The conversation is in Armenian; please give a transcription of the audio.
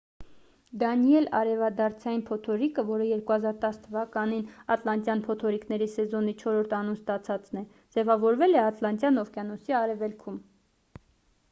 դանիել արևադարձային փոթորիկը որը 2010 թ ատլանտյան փոթորիկների սեզոնի չորրորդ անուն ստացածն է ձևավորվել է ատլանտյան օվկիանոսի արևելքում